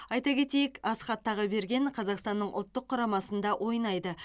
айта кетейік асхат тағыберген қазақстанның ұлттық құрамасында ойнайды